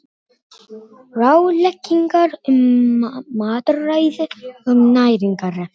Ýrar, pantaðu tíma í klippingu á sunnudaginn.